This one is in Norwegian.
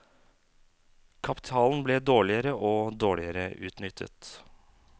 Kapitalen ble dårligere og dårligere utnyttet.